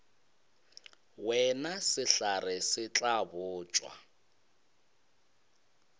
wena sehlare se tla botšwa